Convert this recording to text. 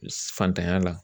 Fantanya la